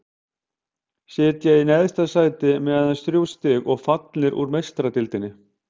Sitja í neðsta sæti með aðeins þrjú stig og fallnir út úr Meistaradeildinni.